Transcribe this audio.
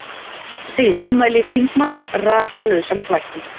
Segir ummæli þingmanns rakalausan þvætting